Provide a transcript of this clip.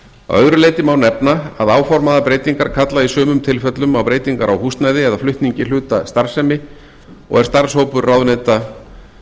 öðru leyti má nefna að áformaðar breytingar kalla í sumum tilfellum á breytingar á húsnæði eða flutningi hluta af starfsemi og er starfshópur ráðuneyta